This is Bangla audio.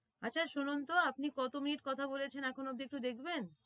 আচ্ছা শুনুন তো আপনি কত minute কথা বলেছেন এখনো অব্দি একটু দেখবেন